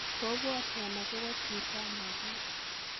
Kobwotog agobo chito ana kiit.